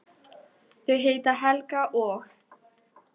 Þau heita Helga og